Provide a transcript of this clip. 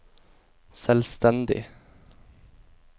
selvstendig